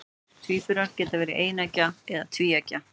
Tvíburar geta verið eineggja eða tvíeggja.